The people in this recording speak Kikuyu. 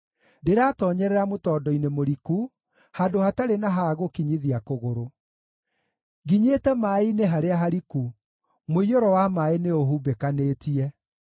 Ndĩratoonyerera mũtondo-inĩ mũriku, handũ hatarĩ na ha gũkinyithia kũgũrũ. Nginyĩte maaĩ-inĩ harĩa hariku; mũiyũro wa maaĩ nĩũhumbĩkanĩtie.